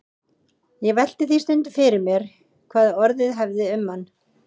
Ég velti því stundum fyrir mér hvað orðið hefði um hann.